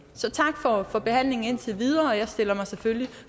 så tak for for behandlingen indtil videre jeg stiller mig selvfølgelig